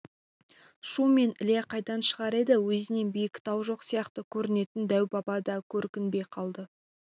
шу мен іле қайдан шығар еді өзінен биік тау жоқ сияқты көрінетін дәу-баба да көрінбей қалды